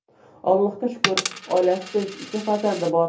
Allohga shukr, oilasi tinch, ikkita farzandi bor.